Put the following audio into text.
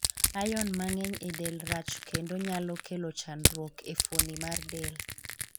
Iron mangeny e delo rach kendo nyalo kelo chandruok ne fuoni mar del.